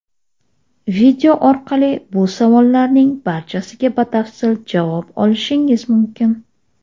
Video orqali bu savollarning barchasiga batafsil javob olishingiz mumkin.